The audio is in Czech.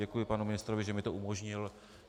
Děkuji panu ministrovi, že mi to umožnil.